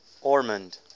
ormonde